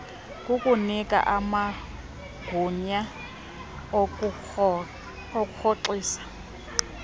kukunika amagunya okurhoxisa